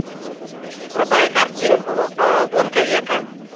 врубай картинку гонка века